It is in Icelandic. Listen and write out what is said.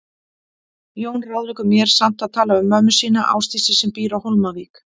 Jón ráðleggur mér samt að tala við mömmu sína, Ásdísi, sem býr á Hólmavík.